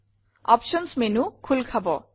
options menu খোল খাব